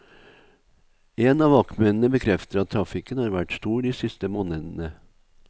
En av vaktmennene bekrefter at trafikken har vært stor de siste månedene.